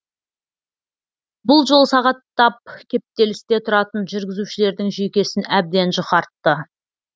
бұл жол сағаттап кептелісте тұратын жүргізушілердің жүйкесін әбден жұқартты